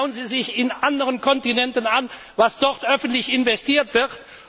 an! Schauen Sie sich in anderen Kontinenten an, was dort öffentlich investiert